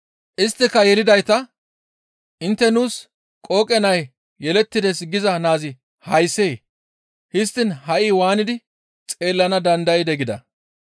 Isttika yelidayta, «Intte, ‹Nuus qooqe nay yelettides› giza naazi hayssee? Histtiin ha7i waanidi xeellana dandaydee?» gida.